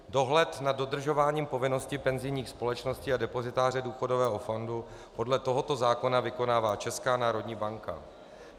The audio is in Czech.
Dohled nad dodržováním povinnosti penzijních společností a depozitáře důchodového fondu podle tohoto zákona vykonává Česká národní banka.